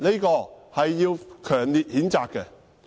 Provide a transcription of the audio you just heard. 這是要強烈譴責的。